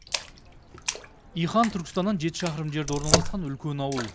иқан түркістаннан жеті шақырым жерде орналасқан үлкен ауыл